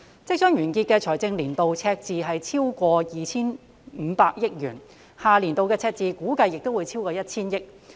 即將完結的財政年度的赤字超過 2,500 億元，下年度的赤字估計也會超過 1,000 億元。